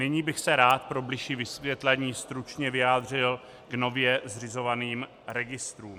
Nyní bych se rád pro bližší vysvětlení stručně vyjádřil k nově zřizovaným registrům.